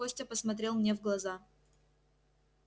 костя посмотрел мне в глаза